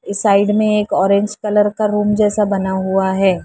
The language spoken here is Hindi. इस साइड में एक ऑरेंज कलर का रूम जैसा बना हुआ है।